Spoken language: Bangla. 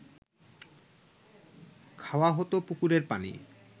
খাওয়া হত পুকুরের পানি